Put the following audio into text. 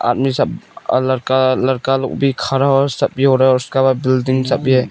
आदमी सब लड़का लड़का लोग भी खड़ा हो रहा है सब भी हो रहा है और उसके पास बिल्डिंग सभी है।